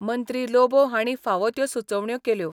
मंत्री लोबो हांणी फावो त्यो सुचोवण्या केल्यो.